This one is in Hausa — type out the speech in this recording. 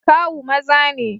Kawu maza ne.